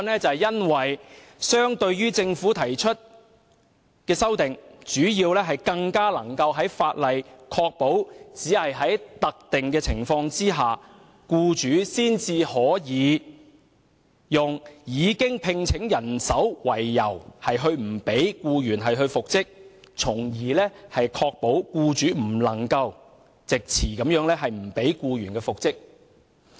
主要原因是相對於政府提出的修訂，他的修正案更能使法例確保只有在特定的情況下，僱主才可用已另聘人手為由不讓僱員復職，從而確保僱主不能藉詞不讓僱員復職。